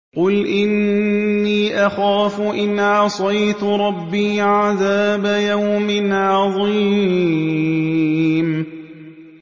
قُلْ إِنِّي أَخَافُ إِنْ عَصَيْتُ رَبِّي عَذَابَ يَوْمٍ عَظِيمٍ